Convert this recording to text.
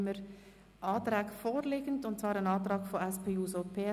Kostentragung bei gemeindeübergreifenden Veranstaltungen